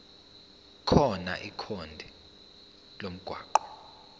khona ikhodi lomgwaqo